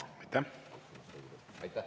Aitäh!